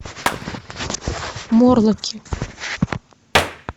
морлоки